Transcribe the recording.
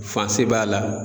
b'a la.